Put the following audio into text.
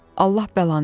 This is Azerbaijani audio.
Allah bəlanı versin.